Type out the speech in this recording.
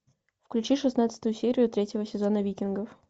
включи шестнадцатую серию третьего сезона викингов